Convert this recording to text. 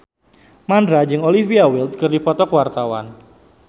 Mandra jeung Olivia Wilde keur dipoto ku wartawan